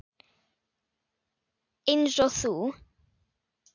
Einsog þú.